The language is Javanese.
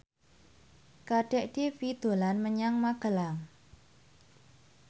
Kadek Devi dolan menyang Magelang